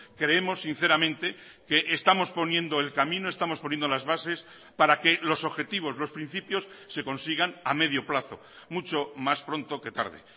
creemos sinceramente que estamos poniendo el camino estamos poniendo las bases para que los objetivos los principios se consigan a medio plazo mucho más pronto que tarde